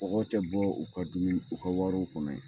Kɔgɔ tɛ bɔ u ka dumuni u ka warow kɔnɔ .